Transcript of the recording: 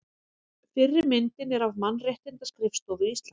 Fyrri myndin er af Mannréttindaskrifstofu Íslands.